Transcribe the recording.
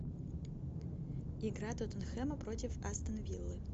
игра тоттенхэма против астон виллы